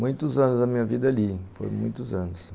Muitos anos da minha vida ali, foram muitos anos.